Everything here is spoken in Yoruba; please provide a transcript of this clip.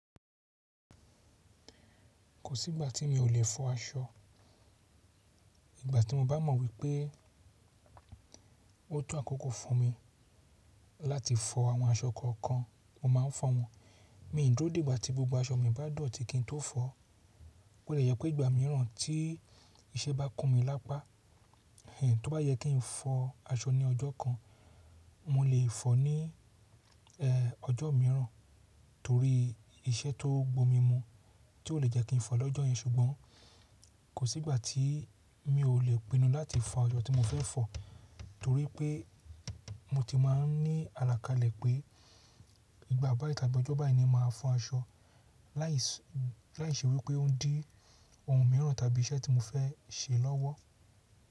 Kò sí ìgbà tí mi ò lè fọ aṣọ. Ìgbà tí mo bá mọ̀ wípé ó to àkókò fún mi láti fọ àwọn aṣọ kọ̀ọ̀kan, mo máa ń fọ wọn. Mi n dúó dè gbá ti gbogbo aṣọ mi bá dọ̀tí kí n tó fọ. Ó lè yẹ pé ìgbà mìíràn tí iṣẹ́ bá kún mi lápá, kí n tó bá yẹ kí n fọ aṣọ ní ọjọ́ kan, mo lè fọ ní ẹ̀, ọjọ́ mìíràn torí iṣẹ́ tó gbó mi mu tí ò lè jẹ́ kí n fọ lọ́jọ́ yẹn. Ṣùgbọ́n kò sí ìgbà tí mi ò lè pinnu láti fọ asọ́ tí mo fẹ́ fọ torí pé mo ti máa ń ní àlàkalẹ̀ pé ìgbà báyiì tàbí ọjọ́ báyiì ni máa fọ aṣọ láìṣe wípé ó dí ohun mìíràn tàbí iṣẹ́ tí mo fẹ́ ṣe lọ́wọ́.